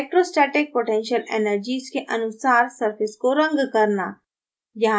electrostatic potential energies के अनुसार surface को रंग करना